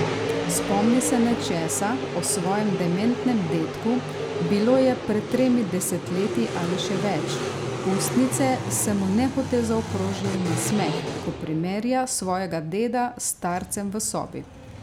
Spomni se nečesa o svojem dementnem dedku, bilo je pred tremi desetletji ali še več, ustnice se mu nehote zaokrožijo v nasmeh, ko primerja svojega deda s starcem v sobi.